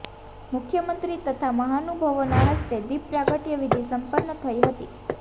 મુખ્યમંત્રી તથા મહાનુભાવોના હસ્તે દિપ પ્રાગટયવિધિ સંપન્ન થઈ હતી